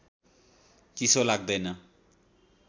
चिसो लाग्दैन